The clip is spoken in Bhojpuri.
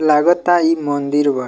लगता इ मंदिर बा।